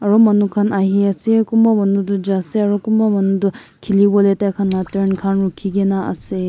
aro manu khan ahi asey kunba manu du ja asey aro kunba manu du khiliwoleh taikhanla turn khan rukhi gina asey.